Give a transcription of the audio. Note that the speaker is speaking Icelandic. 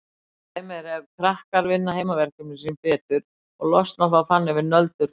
Dæmi er ef krakkar vinna heimaverkefnin sín betur og losna þannig við nöldur foreldra sinna.